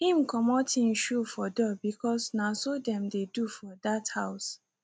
him comot him shoe for door because na so them dey do for that house